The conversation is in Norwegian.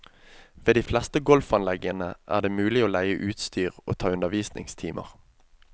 Ved de fleste golfanleggene er det mulig å leie utstyr og å ta undervisningstimer.